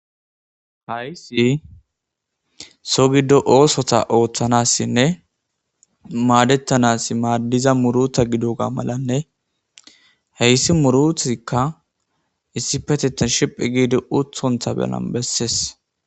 haysi so giddo oosota ooththanassinne maadettanassi maaddiza muruta gidoga malanne heyssi murutaikka issi petete shiphi giidi uthonta belan bessees